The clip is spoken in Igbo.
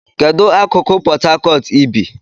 Kedu akụkụ Port Harcourt ị bi?